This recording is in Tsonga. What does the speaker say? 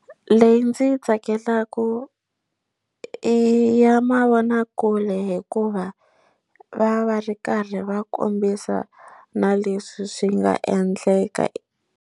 Leyi ndzi yi tsakelaka i ya mavonakule hikuva va va ri karhi va kombisa na leswi swi nga endleka.